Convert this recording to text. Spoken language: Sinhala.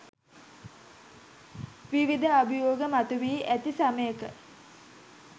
විවිධ අභියෝග මතුවී ඇති සමයක